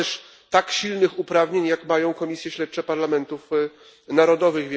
Nie ma też tak silnych uprawnień, jak mają komisje śledcze parlamentów narodowych.